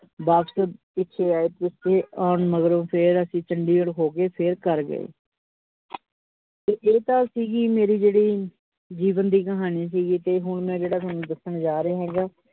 ਬਾਪਸ ਪਿੱਛੇ ਆਏ ਪਿੱਛੇ ਆਉਣ ਮੰਗਰੋਂ ਫੇਰ ਅਸੀ ਚੰਡੀਗੜ ਹੋ ਕੇ ਫੇਰ ਘਰ ਗਏ ਤੇ ਏਹ ਤਾਂ ਸੀਗੀ, ਮੇਰੀ ਜਿਹੜੀ ਜੀਵਨ ਦੀ ਕਹਾਣੀ ਸੀ ਗੀ, ਤੇ ਹੁਣ ਮੈ ਜਿਹੜਾ ਸੋਨੂ ਦੱਸਣ ਜਾ ਰਿਆ ਹੇਗਾ ।